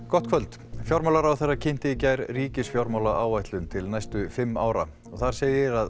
gott kvöld fjármálaráðherra kynnti í gær ríkisfjármálaáætlun til næstu fimm ára þar segir að